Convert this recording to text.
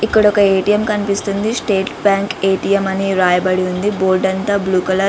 ఇక్కడ ఒక ఎటిఎం కనిపిస్తోంది .స్టేట్ బ్యాంక్ ఎటిఎం అన్ని రాయబడి ఉంది. బోర్డు అంత బ్లూ కలర్--